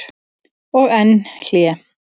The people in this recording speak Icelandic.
Og enn hlé.